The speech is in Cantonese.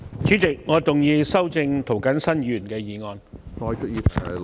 主席，我動議修正涂謹申議員的議案。